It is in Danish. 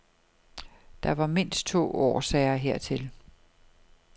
Der var mindst to årsager hertil.